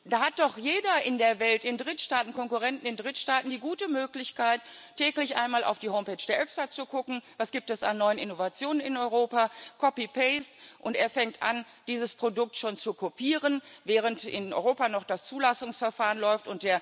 Da hat doch jeder in der Welt Konkurrenten in Drittstaaten die gute Möglichkeit, täglich einmal auf die Homepage der EFSA zu gucken, was es an neuen Innovationen in Europa gibt, copy paste und er fängt an, dieses Produkt schon zu kopieren, während in Europa noch das Zulassungsverfahren läuft.